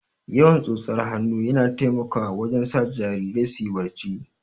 Yawan tsotsar hannu yana taimakawa wajen sa jarirai suyi barci